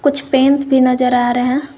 कुछ पेंस भी नजर आ रहे हैं।